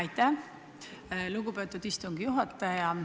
Aitäh, lugupeetud istungi juhataja!